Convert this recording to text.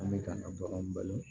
An bɛ ka na baganw balo